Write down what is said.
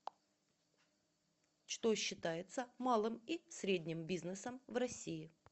что считается малым и средним бизнесом в россии